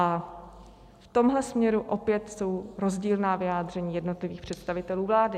A v tomhle směru opět jsou rozdílná vyjádření jednotlivých představitelů vlády.